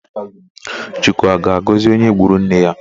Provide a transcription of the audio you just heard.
Chukwu a ga-agọzi onye gburu nne ya?